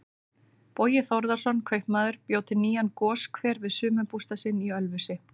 Bogi Þórðarson kaupmaður bjó til nýjan goshver við sumarbústað sinn í Ölfusi.